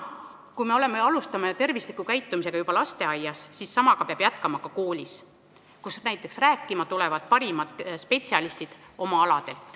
Kui me alustame tervisliku käitumisega lasteaias, siis seda peab jätkama ka koolis, kuhu näiteks võiksid rääkima tulla oma ala parimad spetsialistid.